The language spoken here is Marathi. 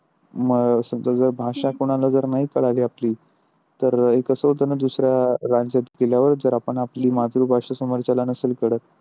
मग भाषा कोणाला जर कोणाला नाही कळली आपली तर हे कस होते न दुसऱ्या branch त गेल्यावर जर आपण आपली मातृभाषा समोरच्याला नसेल कळत.